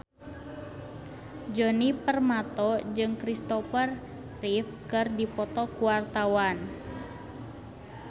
Djoni Permato jeung Christopher Reeve keur dipoto ku wartawan